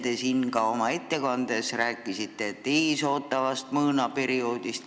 Te rääkisite ka oma ettekandes ees ootavast mõõnaperioodist.